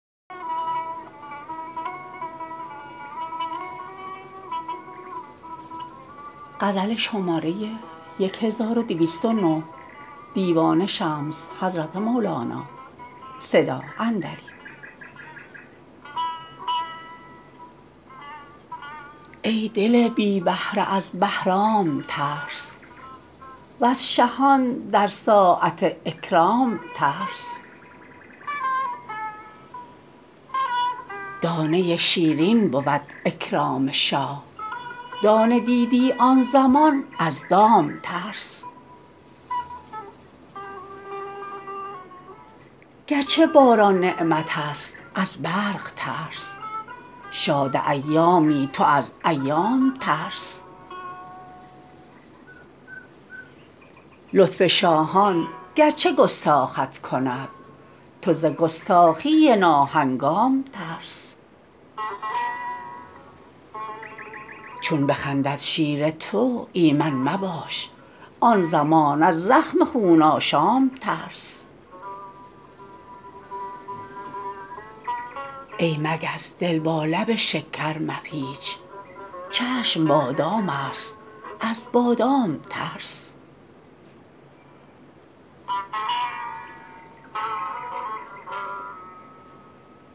ای دل بی بهره از بهرام ترس وز شهان در ساعت اکرام ترس دانه شیرین بود اکرام شاه دانه دیدی آن زمان از دام ترس گرچه باران نعمتست از برق ترس شاد ایامی تو از ایام ترس لطف شاهان گرچه گستاخت کند تو ز گستاخی ناهنگام ترس چون بخندد شیر تو ایمن مباش آن زمان از زخم خون آشام ترس ای مگس دل با لب شکر مپیچ چشم بادامست از بادام ترس